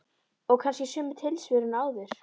Og kannski sömu tilsvörin og áður.